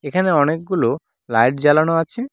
এখানে অনেকগুলো লাইট জ্বালানো আছে।